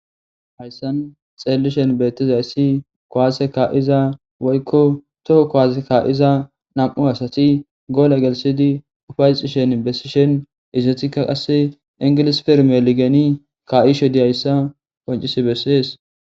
hayssan xeellishen beettizayssi kowase ka7iza woykko toho kowaase ka7iza nam7u asati goole gelisidi ufayxishen bessishen izetikka qasse ingilis pirmeligeni ka7ishe dihayssa qoncisi bessees